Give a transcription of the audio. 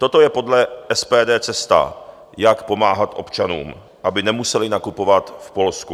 Toto je podle SPD cesta, jak pomáhat občanům, aby nemuseli nakupovat v Polsku.